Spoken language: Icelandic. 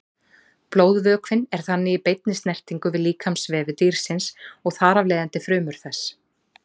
Blóðvökvinn er þannig í beinni snertingu við líkamsvefi dýrsins og þar af leiðandi frumur þess.